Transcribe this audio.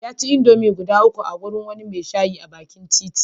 Ya ci indomie guda uku a wurin wani mai shayi na bakin titi.